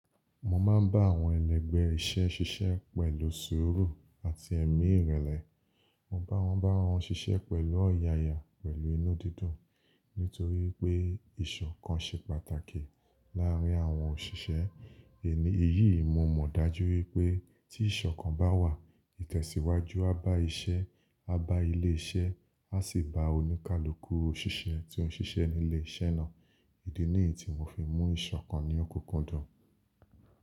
Mo máa ń bá àwọn ẹlẹgbẹ́ iṣẹ́ ṣiṣẹ́ pẹ̀lú sùúrù àti ẹ̀mí ìrẹ̀lẹ̀. Mo bá wọn bá wọn ṣiṣẹ́ pẹ̀lú ọ̀yàyà pẹ̀lú inú dídùn. Nítorí pé ìṣọ̀kan ṣe pàtàkì láàrín àwọn òṣìṣẹ́. È ní èyí, mo mọ̀ dájú wípé tí ìṣọ̀kan bá wà, ìtẹ̀síwájú á bá iṣẹ́, á bá ilé iṣẹ́, á sì bá oníkálukú òṣìṣẹ́ tí ó ń ṣiṣẹ́ ní ilé iṣẹ́ náà. Èdè nìyí tí mo fi mú ìṣọ̀kan ní ọ kúkúndùn.